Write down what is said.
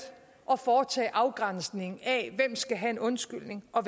at foretage afgrænsningen af hvem skal have en undskyldning og